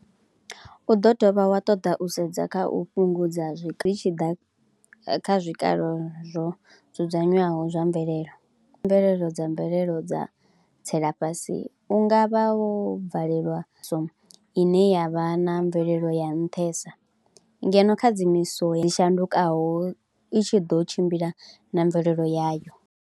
U ḓo dovha wa ṱoḓa u sedza kha u fhungudza zwi tshi ḓa kha zwikalo zwo dzudzanyiwaho zwa mvelele, mvelelo dza mvelelo dza tsela fhasi u nga vha wo bvalelwa ine ya vha na mvelelo ya nṱhesa ngeno khadzimiso dzi shandukaho i tshi ḓo tshimbila na mvelelo yayo.